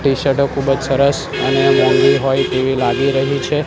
ટીશર્ટો ખુબજ સરસ અને મોંઘી હોઇ તેવી લાગી રહી છે.